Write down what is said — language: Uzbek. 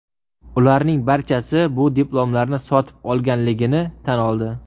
Ularning barchasi bu diplomlarni sotib olganligini tan oldi.